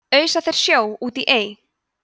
ausa þeir sjó út í ey